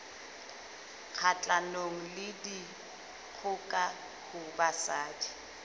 kgahlanong le dikgoka ho basadi